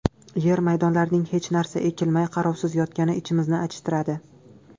Yer maydonlarining hech narsa ekilmay, qarovsiz yotgani ichimizni achishtiradi.